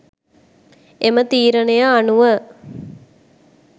එම තීරණය අනුව